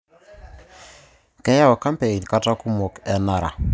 Keyau kampein kata kumok enara